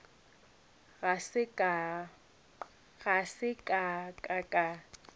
ga se ka ka ka